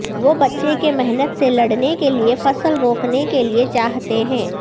وہ بچے کے محنت سے لڑنے کے لئے فصل روکنے کے لئے چاہتے ہیں